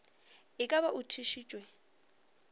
e ka ba o thušitšwe